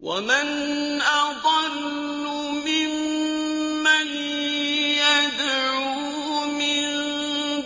وَمَنْ أَضَلُّ مِمَّن يَدْعُو مِن